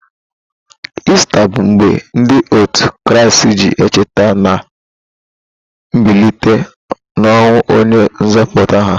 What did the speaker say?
Ista bụ mgbe ndị òtù Kraịst ji echeta na mbilite n'ọnwụ onye nzọpụta ha.